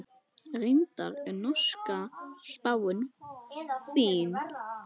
Reyndar er norska spáin fín.